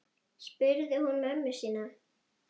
spurði hún mömmu sína.